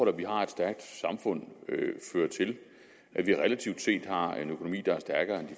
at vi har et stærkt samfund fører til at vi relativt set har en økonomi der er stærkere